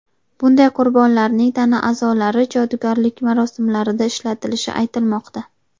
Bunday qurbonlarning tana a’zolari jodugarlik marosimlarida ishlatilishi aytilmoqda.